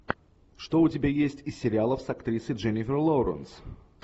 что у тебя есть из сериалов с актрисой дженнифер лоуренс